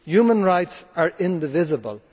Human rights are indivisible